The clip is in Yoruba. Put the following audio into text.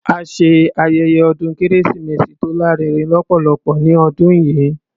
A ṣe ayẹyẹ ọdún kérésìmesì tó lárinrin lọ́pọ̀lọpọ̀ ní ọdún yìí.